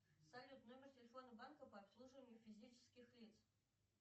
салют номер телефона банка по обслуживанию физических лиц